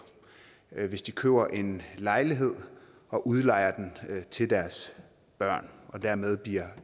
hvis de køber en lejlighed og udlejer den til deres børn og dermed bliver